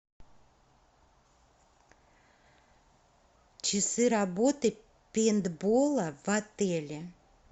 часы работы пейнтболла в отеле